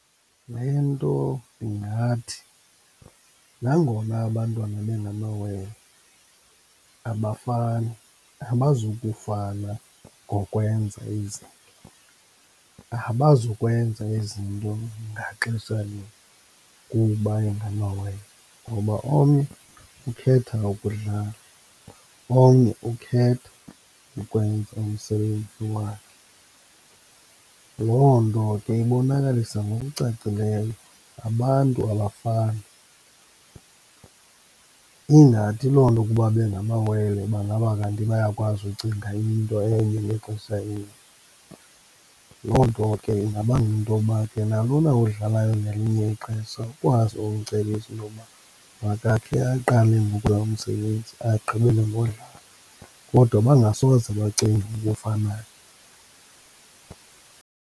Le nto ndingathi, nangona abantwana bengamawele abafani, abazukufana ngokwenza izinto, abazukwenza izinto ngaxesha linye kuba ingamawele, ngoba omnye ukhetha ukudlala, omnye ukhetha ukwenza umsebenzi wakhe. Loo nto ke ibonakalisa ngokucacileyo, abantu abafani. Ingathi loo nto kuba bengamewele bangaba kanti bayakwazi ukucinga into enye ngexesha elinye. Loo nto ke ingabanga intoba ke nalona udlalayo ngelinye ixesha ukwazi umcebisa intokuba makakhe aqale umsebenzi agqibele ngokudlala, kodwa bangasoze bacinge ngokufanayo.